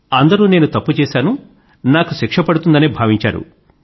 అందరూ నేను తప్పు చేశాను నాకు శిక్ష పడుతుందనే భావించారు